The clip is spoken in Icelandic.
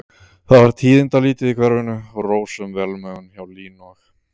Það var tíðindalítið í hverfinu og rósöm velmegun hjá Línu og